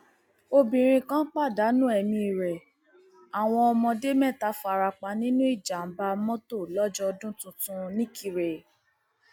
obìnrin kan pàdánù ẹmí rẹ àwọn ọmọdé mẹta fara pa nínú ìjàmbá mọtò lọjọ ọdún tuntun nikirè